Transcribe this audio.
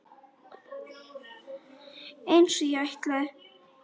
Einsog ég ætlaði.